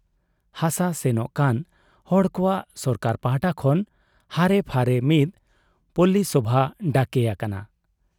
ᱦᱟᱥᱟ ᱥᱮᱱᱚᱜ ᱠᱟᱱ ᱦᱚᱲ ᱠᱚᱣᱟᱜ ᱥᱚᱨᱠᱟᱨ ᱯᱟᱦᱴᱟ ᱠᱷᱚᱱ ᱦᱟᱨᱮᱯᱷᱟᱨᱮ ᱢᱤᱫ ᱯᱚᱞᱞᱤᱥᱚᱵᱷᱟ ᱰᱟᱠᱮ ᱟᱠᱟᱱᱟ ᱾